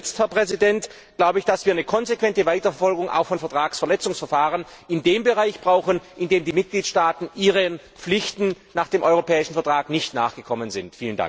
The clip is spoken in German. Und zuletzt, Herr Präsident, glaube ich, dass wir eine konsequente Weiterverfolgung auch von Vertragsverletzungsverfahren in dem Bereich brauchen, in dem die Mitgliedstaaten ihren Pflichten nach dem europäischen Vertrag nicht nachgekommen sind.